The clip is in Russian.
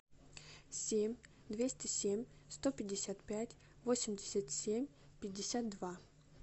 семь двести семь сто пятьдесят пять восемьдесят семь пятьдесят два